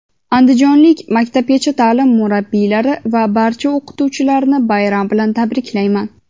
andijonlik maktabgacha taʼlim murabbiylari va barcha o‘qituvchilarni bayram bilan tabriklayman.